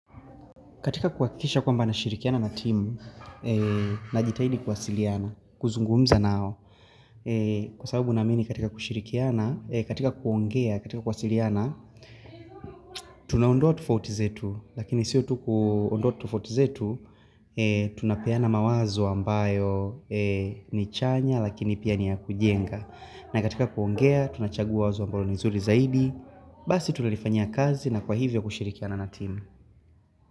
Katika kuhakikisha kwamba nashirikiana na timu, na jitahidi kuwasiliana, kuzungumza nao. Kwa sababu naamini katika shirikiana, katika kuongea, katika kuwasiliana, tunaondoa tufauti zetu, lakini sio tu kuondoa tofauti zetu, tunapeana mawazo ambayo ni chanya, lakini pia ni ya kujenga. Na katika kuongea, tunachagua wazo ambayo ni zuri zaidi, basi tunalifanyia kazi na kwa hivyo kushirikiana na timu.